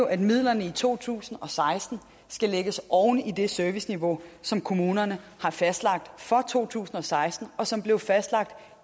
at midlerne i to tusind og seksten skal lægges oven i det serviceniveau som kommunerne har fastlagt for to tusind og seksten og som blev fastlagt